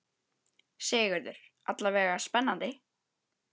Sigurður: Alla vega spennandi?